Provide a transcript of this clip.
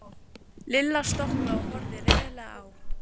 Lilla stoppaði og horfði reiðilega á